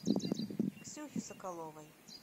ксюхе соколовой